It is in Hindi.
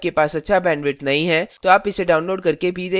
यदि आपके पास अच्छा bandwidth नहीं है तो आप इसे download करके देख सकते हैं